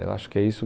Eu acho que é isso.